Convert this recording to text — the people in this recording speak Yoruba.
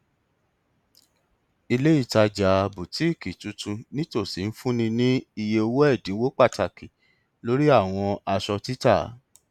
olùdókòòwò tó ní ọgbọn jèrè owó lórí àpòọjà rẹ pẹlú títà ọjà ìlànà kan